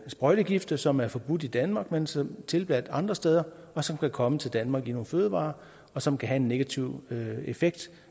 sprøjtegifte som er forbudte i danmark men som tilladte andre steder og som kan komme til danmark i nogle fødevarer og som kan have en negativ effekt